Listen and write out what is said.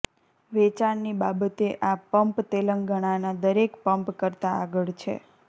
વેચાણની બાબતે આ પંપ તેલંગાણાના દરેક પંપ કરતાં આગળ છે